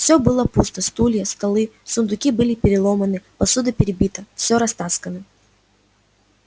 все было пусто стулья столы сундуки были переломаны посуда перебита все растаскано